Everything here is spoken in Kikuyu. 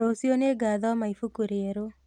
Rũciũ nĩngathoma ibuku rĩerũ